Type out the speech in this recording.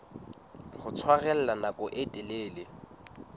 ho tshwarella nako e telele